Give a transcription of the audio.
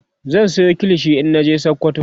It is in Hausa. zan Sayo kilishi in naje sokoto